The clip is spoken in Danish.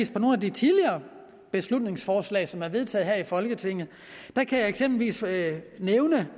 se på nogle af de tidligere beslutningsforslag som er vedtaget her i folketinget der kan jeg eksempelvis nævne